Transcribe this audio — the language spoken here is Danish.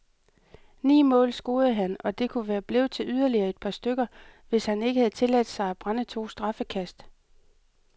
Ni mål scorede han, og det kunne være blevet til yderligere et par stykker, hvis han ikke havde tilladt sig at brænde to straffekast.